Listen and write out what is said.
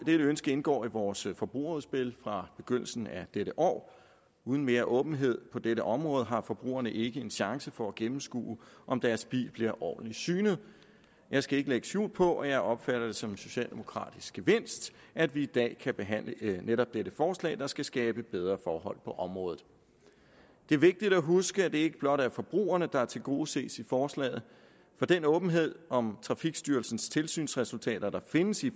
ønske indgår i vores forbrugerudspil fra begyndelsen af dette år uden mere åbenhed på dette område har forbrugerne ikke en chance for at gennemskue om deres bil blive ordentlig synet jeg skal ikke lægge skjul på at jeg opfatter det som en socialdemokratisk gevinst at vi i dag kan behandle netop dette forslag der skal skabe bedre forhold på området det er vigtigt at huske at det ikke blot er forbrugerne der tilgodeses i forslaget for den åbenhed om trafikstyrelsens tilsynsresultater der findes i